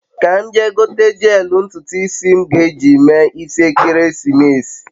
ka m jee gote jeelu ntutu isi m ge eji mee isi ekesimeesi